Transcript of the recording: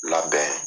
Labɛn